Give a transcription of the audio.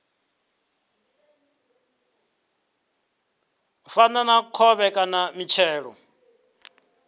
fana na khovhe kana mitshelo